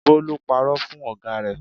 Bólú parọ́ fún ọ̀gá rẹ̀.